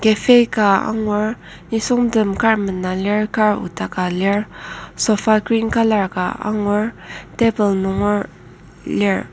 cafe ka angur nisungtem kar mena lir kar odaka lir sofa green colour ka angur table nunger lir.